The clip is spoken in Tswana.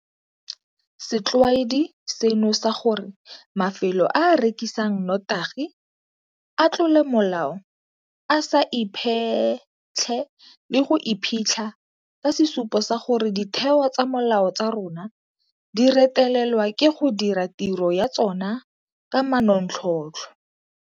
Setlwaedi seno sa gore mafelo a a rekisang notagi a tlole molao a sa iphetlhe le go iphitlha ke sesupo sa gore ditheo tsa molao tsa rona di retelelwa ke go dira tiro ya tsona ka manontlhotlho.